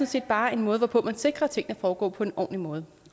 set bare en måde hvorpå man sikrer at tingene foregår på en ordentlig måde